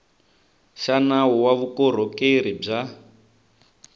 xa nawu wa vukorhokeri bya